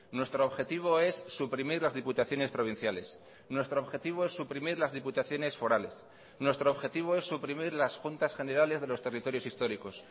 nuestro objetivo es suprimir las diputaciones provinciales nuestro objetivo es suprimir las diputaciones forales nuestro objetivo es suprimir las juntas generales de los territorios históricos